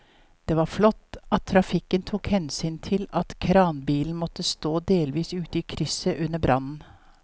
Det var flott at trafikken tok hensyn til at kranbilen måtte stå delvis ute i krysset under brannen.